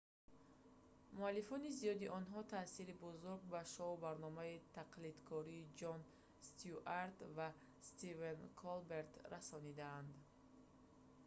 муаллифони зиёди онҳо таъсири бузург ба шоу барномаи тақлидкорӣ ҷон стюарт ва стивен колберт расонидаанд